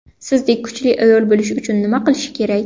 Sizdek kuchli ayol bo‘lish uchun nima qilish kerak?